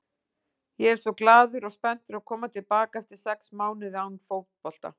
Ég er svo glaður og spenntur að koma til baka eftir sex mánuði án fótbolta.